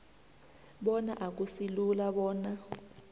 bona akusilula bona